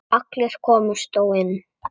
Allir komust þó inn.